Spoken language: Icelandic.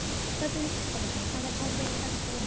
Þorbjörn Þórðarson: Hafa tár verið felld hér inni?